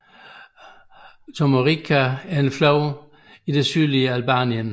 Tomorrica er en flod i det sydøstlige Albanien